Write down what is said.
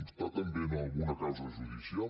està també en alguna causa judicial